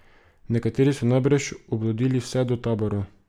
Nekateri so najbrž odblodili vse do taborov.